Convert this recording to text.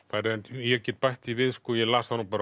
ég get bætt því við ég las það nú bara